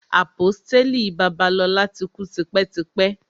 Àpọ́stélì Babalola ti kú tipẹ́ tipẹ́.